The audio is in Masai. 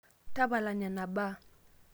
tapala nena baa